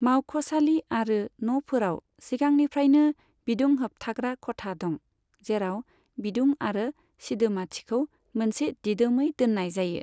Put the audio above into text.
मावख'सालि आरो न'फोराव सिगांनिफ्रायनो बिदुं होबथाग्रा खथा दं, जेराव बिदुं आरो सिदोमाथिखौ मोनसे दिदोमै दोननाय जायो।